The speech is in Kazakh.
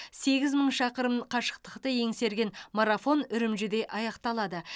сегіз мың шақырым қашықтықты еңсерген марафон үрімжіде аяқталады